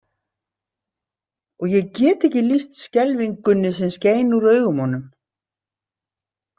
Og ég get ekki lýst skelfingunni sem skein úr augunum á honum.